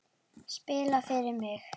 Spila fyrir mig?